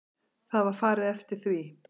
Það var farið eftir því.